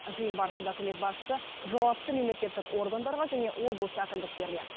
жиын барысында үкімет басшысы жауапты мемлекеттік органдарға және облыс әкімдіктеріне